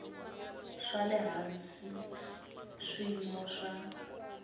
swa le hansi swiyimo swa